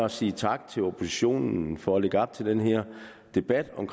at sige tak til oppositionen for at lægge op til den her debat om